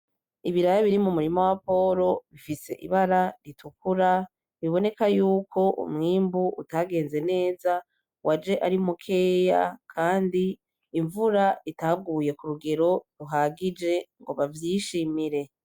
Ibiraya biri mumurima wa Poro bifise ibara ritukura biboneka yuko umwimbu utagenze neza waje ari mukeya Kandi imvura itaguye kurugero ruhagije ngo bavyishimire.